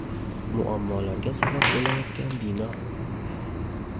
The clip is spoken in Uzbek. Muammolarga sabab bo‘layotgan bino.